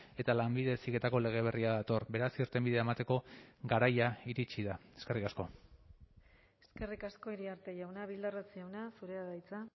eta lanbide heziketako lege berria dator beraz irtenbidea emateko garaia iritsi da eskerrik asko eskerrik asko iriarte jauna bildarratz jauna zurea da hitza